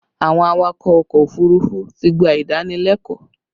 Àwọn awakọ̀ ọkọ òfurufú ti gbà ìdánilẹ́kọ̀ọ́